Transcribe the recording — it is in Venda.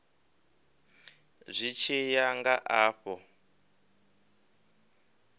zwi tshi ya nga afho